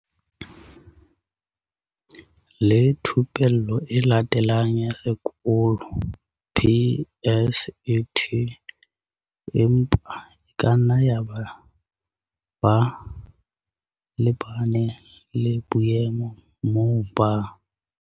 le Thupello e Latelang ya Sekolo, PSET, empa e kanna yaba ba lebane le boemo moo ba.